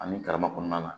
Ani karama kɔnɔna na